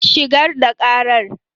Shigar da karar.